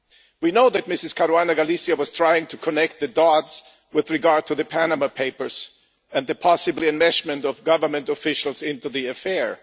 We know that Ms Caruana Galicia was trying to join the dots with regard to the Panama Papers and the possible enmeshment of government officials in the affair.